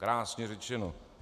Krásně řečeno.